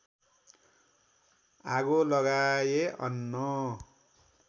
आगो लगाए अन्न